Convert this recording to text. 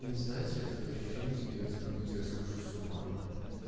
знаете такое ощущение создаётся как будто я схожу с ума или